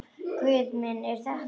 Guð minn er þetta rétt?